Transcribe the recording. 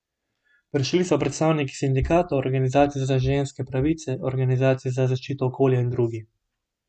Prišli so predstavniki sindikatov, organizacij za ženske pravice, organizacij za zaščito okolja in drugi.